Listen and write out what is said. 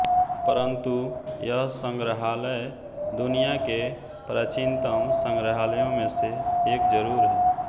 परंतु यह संग्रहालय दुनिया केप्राचिनतम संग्रहालयों मे से एक ज़रूर है